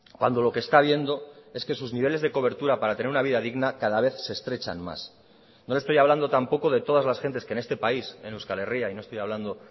cuando lo que está viendo es que sus niveles de cobertura para tener una vida digna cada vez se estrechan más no le estoy hablando tampoco de todas las gentes que en este país en euskal herria y no estoy hablando